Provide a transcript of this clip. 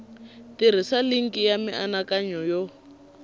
tirhisa linki ya mianakanyo yo